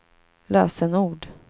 lösenord